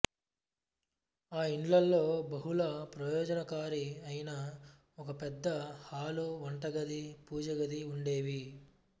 ఆ ఇండ్లలో బహుళ ప్రయోజనకారి అయిన ఒక పెద్ద హాలు వంటగది పూజ గది ఉండేవి